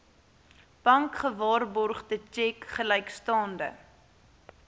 bankgewaarborgde tjek gelykstaande